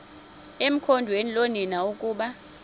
ekhondweni loonina ukuba